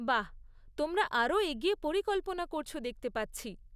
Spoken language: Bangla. বাহ! তোমরা আরও এগিয়ে পরিকল্পনা করছ দেখতে পাচ্ছি।